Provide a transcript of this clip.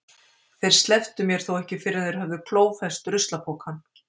Þeir slepptu mér þó ekki fyrr en þeir höfðu klófest ruslapokann.